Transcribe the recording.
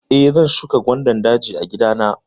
Eh, zan shuka gwandan daji a gida na.